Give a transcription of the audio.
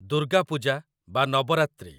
ଦୁର୍ଗା ପୂଜା ବା ନବରାତ୍ରି